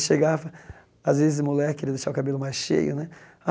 Chegava às vezes, moleque queria deixar o cabelo mais cheio né.